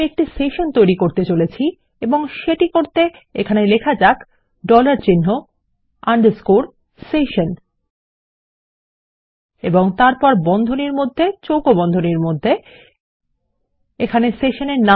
আমি একটি সেশন তৈরী করতে চলেছি এবং সেটি করতে এখানে লেখা যাক ডলার চিন্হ আন্ডারস্কোর সেশন এবং তারপর বন্ধনীর মধ্যে চৌকো বন্ধনীর মধ্যে এখানে সেশন নামে